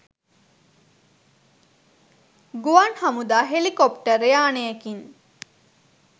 ගුවන් හමුදා හෙලිකොප්ටර් යානයකින්